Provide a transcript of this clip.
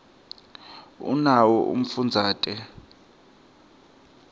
unawo umfundazate